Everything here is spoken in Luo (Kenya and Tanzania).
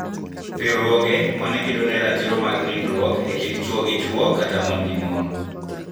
Riwruoge ma ne kedo ne ratiro mar nindruok e kind chwo gi chwo kata mon gi mon